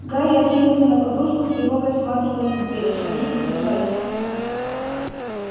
гарри откинулся на подушку с тревогой всматриваясь в дверь шаги приближались